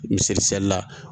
Miselila